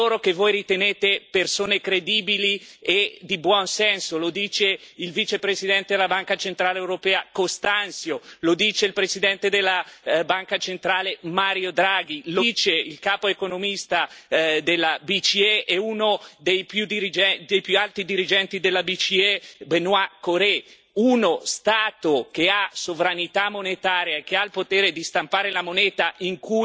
Lo dice il vicepresidente della Banca centrale europea, Constâncio, lo dice il Presidente della Banca centrale, Mario Draghi, lo dice il capo economista della BCE e uno dei più alti dirigenti della BCE, Benoît Cœuré uno Stato che ha sovranità monetaria, che ha il potere di stampare la moneta in cui è denominato il suo debito, può sempre sostenere il suo debito.